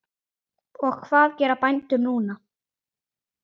Og hvað gera bændur núna?